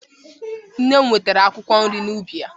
Nne m wetere akwụkwọ nri n'ubi ya.